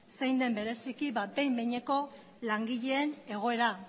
zein den bereziki behin behineko langileen egoera